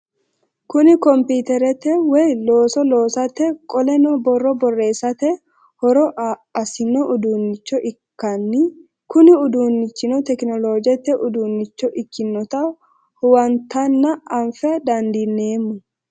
Kuni kompiterete woyi looso loosate qoleno boro boreesate hooro asno udunicho ikan Kuni udinichino tecinolojete udunicho ikinota huwantana afa dandinemo?